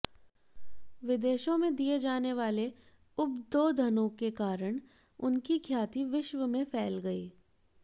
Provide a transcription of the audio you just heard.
विदेशों में दिए जाने वाले उद्बोधनों के कारण उनकी ख्याति विश्व में फैल गई